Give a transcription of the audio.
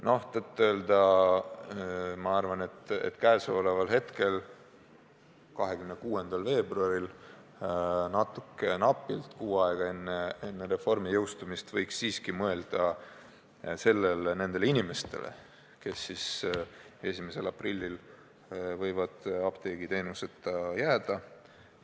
Ma siiski arvan, et täna, 26. veebruaril, natuke rohkem kui kuu aega enne reformi jõustumist, võiks siiski mõelda nendele inimestele, kes 1. aprillil võivad apteegiteenuseta jääda.